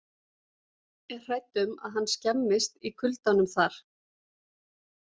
Er hrædd um að hann skemmist í kuldanum þar.